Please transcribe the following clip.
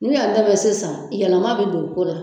N'u y'an dɛmɛ sisan, yɛlɛma bɛ don o ko la.